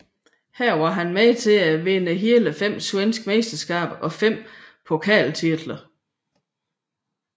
Her var han med til at vinde hele fem svenske mesterskaber og fem pokaltitler